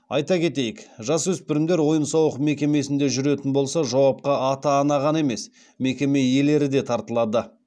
айта кетейік жасөспірімдер ойын сауық мекемесінде жүретін болса жауапқа ата ана ғана емес мекеме иелері де тартылады